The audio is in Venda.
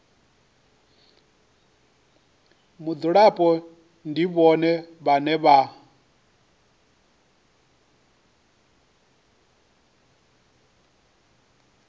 mudzulapo ndi vhone vhane vha